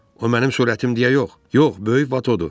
O mənim sürətim deyə yox, yox, böyük vadadır.